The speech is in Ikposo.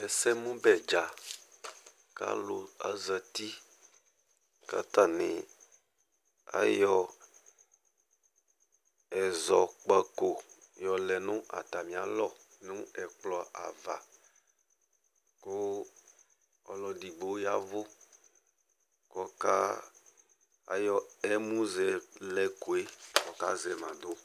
Ɛsɛmʋbɛ dza kʋ alʋ azati kʋ atanɩ ayɔ ɛzɔkpako yɔlɛ nʋ atamɩalɔ nʋ ɛkplɔ ava kʋ ɔlʋ edigbo yavʋ kʋ ɔka ayɔ emuzɛlɛko kazɛ ma dʋ